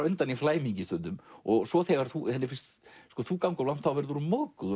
undan í flæmingi stundum og svo þegar henni finnst þú ganga of langt þá verður hún móðguð og